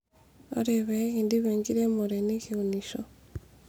ore peekindip enkiremore nikiunisho